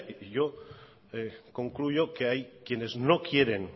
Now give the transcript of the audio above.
y yo concluyo que hay quienes no quieren